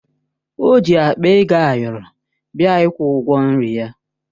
O ji akpa ego ayọrọ bịa ịkwụ ụgwọ nri ya